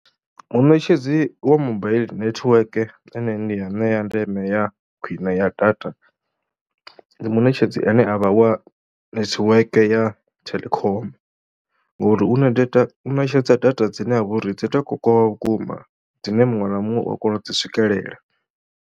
Muṋetshedzi wa mobile netiweke ane ndi ya ṋea ndeme ya khwine ya data, muṋetshedzi ane a vha wa netiweke ya Telkom ngori u na data u ṋetshedza data dzine ha vha uri dzi tou kokovha vhukuma dzine muṅwe na muṅwe u a kona u dzi swikelela.